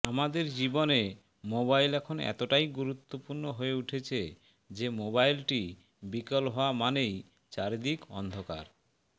আমাদের জীবনে মোবাইল এখন এতটাই গুরুত্বপূর্ণ হয়ে উঠেছে যে মোবাইলটি বিকল হওয়া মানেই চারিদিক অন্ধকার